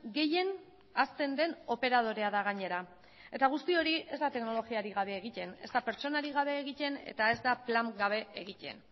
gehien hazten den operadorea da gainera eta guzti hori ez da teknologiarik gabe egiten ez da pertsonarik gabe egiten eta ez da plan gabe egiten